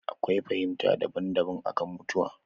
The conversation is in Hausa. Akwai fahimta daban daban akan mutuwa